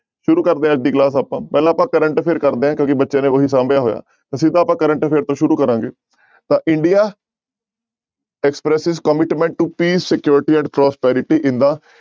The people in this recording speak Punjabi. ਸ਼ੁਰੂ ਕਰਦੇ ਹਾਂ ਅੱਜ ਦੀ class ਆਪਾਂ ਪਹਿਲਾਂ ਆਪਾਂ current affair ਕਰਦੇ ਹਾਂ ਕਿਉਂਕਿ ਬੱਚਿਆਂ ਨੇ ਉਹੀ ਸਾਂਭਿਆ ਹੋਇਆ ਤਾਂ ਸਿੱਧਾ ਆਪਾਂ current affair ਤੋਂ ਸ਼ੁਰੂ ਕਰਾਂਗੇ ਤਾਂ india commitment to security and prosperity in the